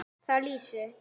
Þar lýsir